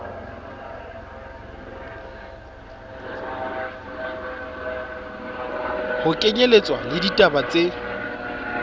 ho kenyelletswa le ditaba tse